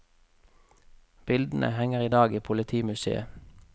Bildene henger i dag i politimuseet.